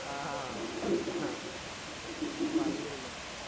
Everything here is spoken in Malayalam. ങ്ഹാ പറഞ്ഞിരുന്നു